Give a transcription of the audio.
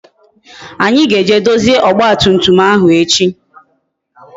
Anyi ga-eje dozie ọgba tum tum ahụ echi